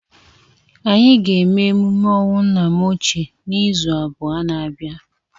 Anyị ga-eme emume ọnwụ nna m ochie n'izu abụọ na abia.